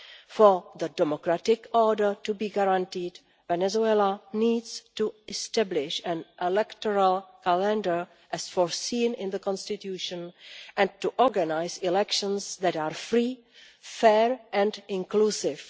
For the democratic order to be guaranteed Venezuela needs to establish an electoral calendar, as foreseen in the Constitution, and to organise elections that are free, fair and inclusive.